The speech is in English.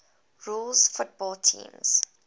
rules football teams